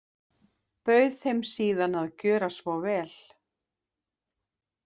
Bauð þeim síðan að gjöra svo vel.